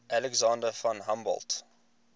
alexander von humboldt